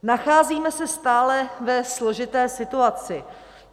Nacházíme se stále ve složité situaci.